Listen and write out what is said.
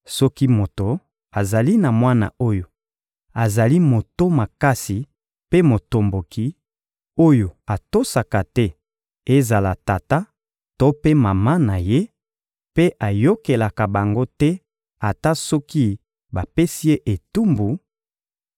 Soki moto azali na mwana oyo azali moto makasi mpe motomboki, oyo atosaka te ezala tata to mpe mama na ye, mpe ayokelaka bango te ata soki bapesi ye etumbu,